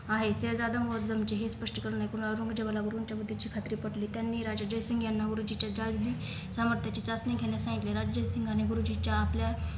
आहे शेहजादा मोहउद्दुमचे हे स्पष्ट करून एकूण औरंगजेबाला वरून चबुद्दीनची खात्री पटली त्यांनी राजा जयसिंग यांना उरुजीचे संमत्तीचे चाचणी घेण्यास सांगितले राजससिंगने गुरुजीच्या आपल्या